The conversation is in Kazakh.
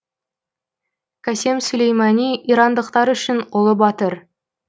касем сүлеймани ирандықтар үшін ұлы батыр